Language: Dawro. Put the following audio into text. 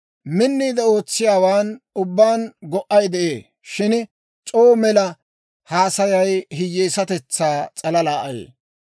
Minniide ootsiyaawaan ubbaan go"ay de'ee; shin c'oo mela haasayay hiyeesatetsaa s'alala ayee.